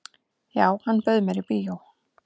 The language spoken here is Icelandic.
"""Já, hann bauð mér í bíó."""